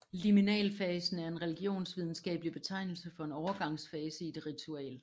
Liminalfasen er en religionsvidenskabelig betegnelse for en overgangsfase i et ritual